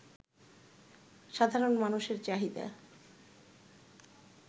সাধারণ মানুষের চাহিদা